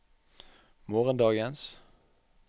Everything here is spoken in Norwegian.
morgendagens